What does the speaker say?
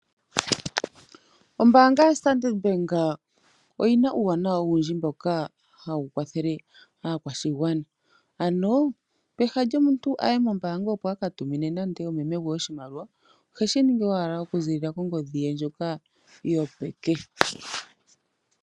Ombaanga yo Standard bank oyiina uuwanawa wuundji mboka ha wukwathele aakwashigwana aano peha lyomuntu ayee mombanga opo akatumine nande omeme gwee oshimaliwa oheshiningi owala oku zilila kongodhi ye ndjoka yo peke